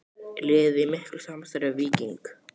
Er liðið í miklu samstarfi við Víking?